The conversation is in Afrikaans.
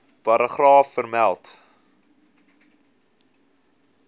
paragraaf vermeld